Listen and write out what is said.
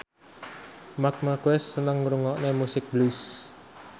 Marc Marquez seneng ngrungokne musik blues